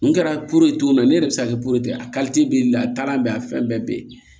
N kɛra ye cogo min na ne yɛrɛ bɛ se ka kɛ ye a bɛ yen a taar'a bɛɛ a fɛn bɛɛ bɛ yen